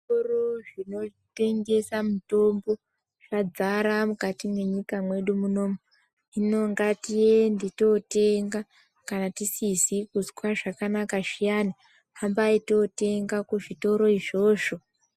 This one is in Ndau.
Zvitoro zvinotengese mitombo zvadzara mukati mwenyika mwedu munomu. Hino ngatiende totenga kana tisizikuzwe zvakanaka zviyani, hambai totenga kuzvitoro izvozvo.